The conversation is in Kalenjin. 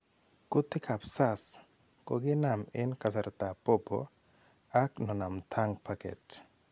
Kutik ap SARS kokinam eng kasartaap popo ak nonamtang paket.